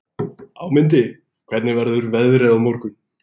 Ámundi, hvernig verður veðrið á morgun?